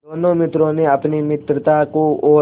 दोनों मित्रों ने अपनी मित्रता को और